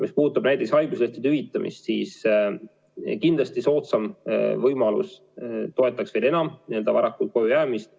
Mis puutub näidishaiguslehtede hüvitamisse, siis kindlasti soodsam võimalus toetaks veel enam varakult koju jäämist.